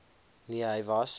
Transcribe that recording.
nee hy was